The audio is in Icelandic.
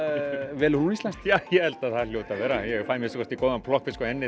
velur hún íslenskt já ég held að það hljóti að vera ég fæ að minnsta kosti góðan plokkfisk